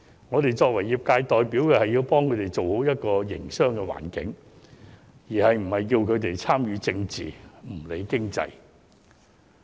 我們作為業界代表，要幫助他們建立一個良好的營商環境，而不是要求他們參與政治、不理經濟。